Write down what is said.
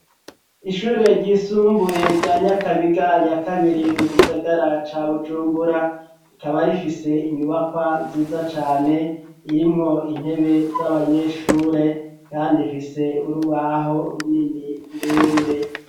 Ishure ryisumbuye rya Nyakabiga ya kabiri mu gisagara ca Bujumbura, rikaba rifise inyubakwa nziza cane irimwo intebe z'abanyeshure, kandi ifise urubaho runini rurerure.